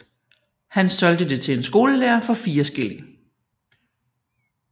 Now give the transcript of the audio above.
Han solgte det til en skolelærer for fire skilling